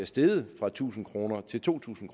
steget fra tusind kroner til to tusind